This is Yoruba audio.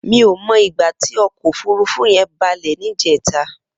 Mi ó mó igbà ti ọkọ ófùrùfù yèn bàlẹ nijètá